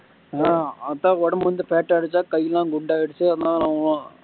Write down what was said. ஹம் அதான் உடம்பு வந்து fat ஆகிடுச்சா கை எல்லாம் குண்டாகிடுச்சா அதனால